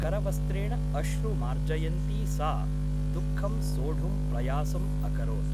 करवस्त्रेण अश्रु मार्जयन्ती सा दुःखं सोढुं प्रयासम् अकरोत् ।